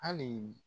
Hali